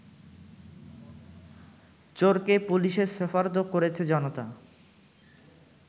চোরকে পুলিশে সোপর্দ করেছে জনতা